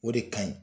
O de ka ɲi